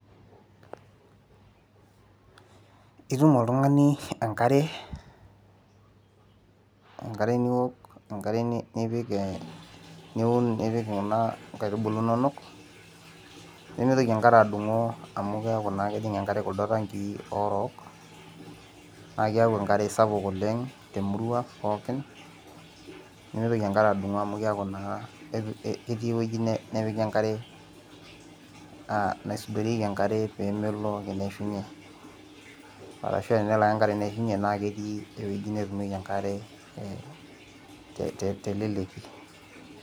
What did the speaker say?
Itum oltung'ani enkare, enkare niwok enkare nipik eh niun nipik kuna inkaitubulu inonok nemitoki enkare adung'o amu keeku naa kejing enkare kuldo tankii orook naa kiaku enkare sapuk oleng temurua pooki nemeitoki enkare adung'o amu keeku naa ketii ewueji nepiki enkare uh naisudorieki enkare pemelo ake neishunye arashua enelo ake enkare neishunye naa ketii ewueji netumieki enkare teleleki.